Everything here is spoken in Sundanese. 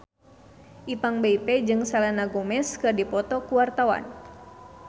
Ipank BIP jeung Selena Gomez keur dipoto ku wartawan